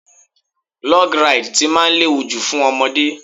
Log Ride tí máa léwu jù fún ọmọdé.